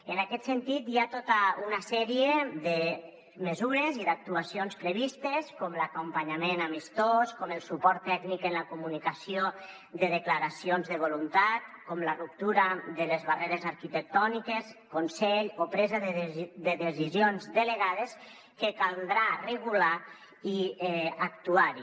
en aquest sentit hi ha tota una sèrie de mesures i d’actuacions previstes com l’acompanyament amistós com el suport tècnic en la comunicació de declaracions de voluntat com la ruptura de les barreres arquitectòniques consell o presa de decisions delegades que caldrà regular i actuar hi